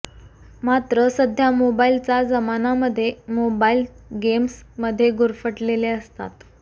मात्र सध्या मोबाईलचा जमाना मध्ये मोबाईल गेम्स मध्ये गुरफटलेले असतात